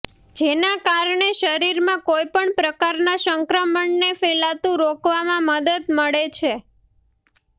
જેના કારણે શરીરમાં કોઈપણ પ્રકારના સંક્રમણને ફેલાતું રોકવામાં મદદ મળે છે